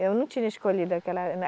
Eu não tinha escolhido aquela